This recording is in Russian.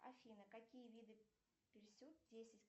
афина какие виды